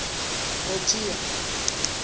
protea